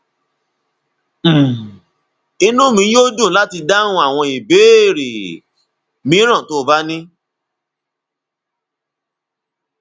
um inú mi yóò dùn láti dáhùn àwọn ìbéèrè mìíràn tó o bá ní